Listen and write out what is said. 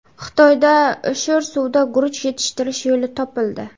Xitoyda sho‘r suvda guruch yetishtirish yo‘li topildi.